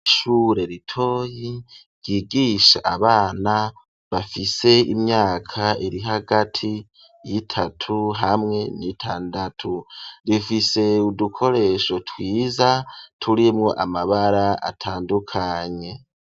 Ishure ritoyi ryigisha abana bafise imyaka iri hagati y'itatu hamwe n'itandatu rifise udukoresho twiza turimo amabara atandukanye.